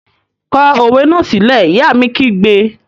Kọ òwe náà sílẹ́! Ìyá mi kígbe!